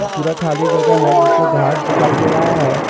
पूरा खाली जगह है जिसमें घास दिखाई दे रहा है।